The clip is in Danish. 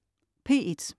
P1: